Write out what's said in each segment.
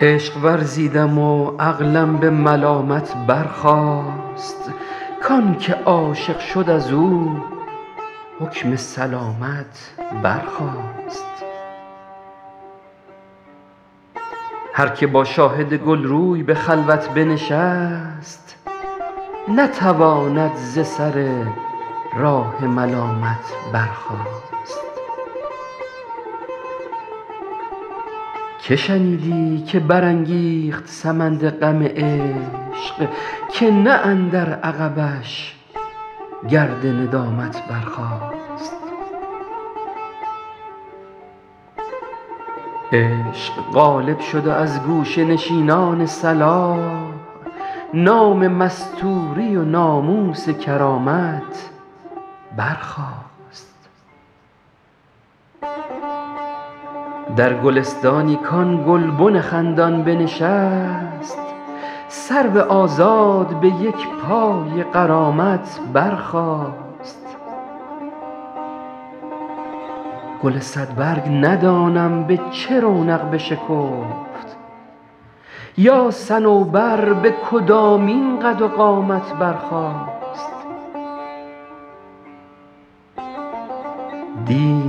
عشق ورزیدم و عقلم به ملامت برخاست کان که عاشق شد از او حکم سلامت برخاست هر که با شاهد گل روی به خلوت بنشست نتواند ز سر راه ملامت برخاست که شنیدی که برانگیخت سمند غم عشق که نه اندر عقبش گرد ندامت برخاست عشق غالب شد و از گوشه نشینان صلاح نام مستوری و ناموس کرامت برخاست در گلستانی کآن گلبن خندان بنشست سرو آزاد به یک پای غرامت برخاست گل صدبرگ ندانم به چه رونق بشکفت یا صنوبر به کدامین قد و قامت برخاست دی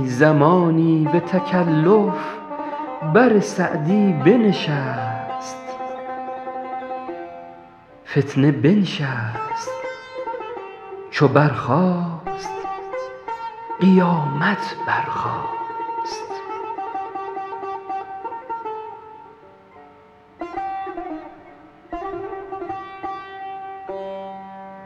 زمانی به تکلف بر سعدی بنشست فتنه بنشست چو برخاست قیامت برخاست